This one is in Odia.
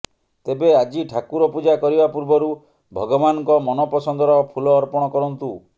ତେବେ ଆଜି ଠାକୁର ପୂଜା କରିବା ପୂର୍ବରୁ ଭଗବାନଙ୍କ ମନ ପସନ୍ଦର ଫୁଲ ଅର୍ପଣ କରନ୍ତୁ